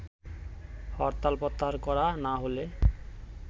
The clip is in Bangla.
হরতাল প্রত্যাহার করা না হলে